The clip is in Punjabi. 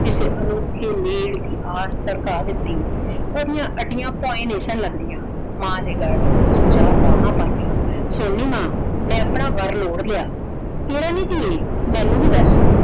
ਕਿਸੇ ਅਨੋਖੇ ਮੇਲ ਦੀ ਆਸ ਤੜਕਾ ਦਿੱਤੀ ਉਹਦੀਆਂ ਅੱਡੀਆਂ ਭੋਏ ਨੀ ਸਨ ਲੱਗਦੀਆਂ। ਮਾਂ ਦੇ ਗੱਲ ਉਸ ਜਾ ਬਾਹਾਂ ਪਾਈਆਂ। ਸੁਣ ਨੀ ਮਾਂ ਮੈਂ ਆਪਣਾ ਵਰ ਲੋੜ ਲਿਆ ਕਿਹੜਾ ਨੀ ਧੀਏ? ਮੈਨੂੰ ਵੀ ਦੱਸ